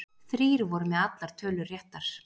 Þrír voru með allar tölur réttar